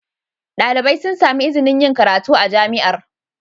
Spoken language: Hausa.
Dalibai sun sami izinin yin karatu a Jami'ar.